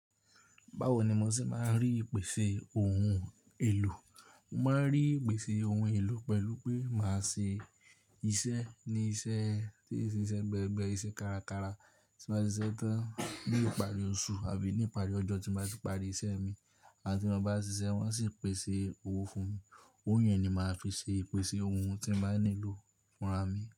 Báwo ni mo ṣe máa ń rí ìpèsè ohun èlò? Mo máa ń rí ìpèsè ohun èlò pẹ̀lú pé màá ṣe iṣẹ́ ní iṣẹ́ tí ó ṣe iṣẹ́ gbẹ, gbẹ iṣẹ́ kárakára tí n bàá siṣe tán bí ìparí oṣù àbí ní ìparí ọjọ́ tí n bàá ti parí iṣẹ́ mi, awon tí mon bá ṣiṣẹ́ wọ́n sì pèsè owó fún mi. Owó yẹn ni màá fi ṣe ìpèsè ohun tí n bàá nílò fúnra mi.